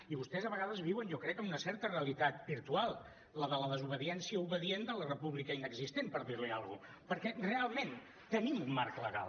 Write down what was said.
i vostès a vegades viuen jo crec en una certa realitat virtual la de la desobediència obedient de la república inexistent per dir li alguna cosa perquè realment tenim un marc legal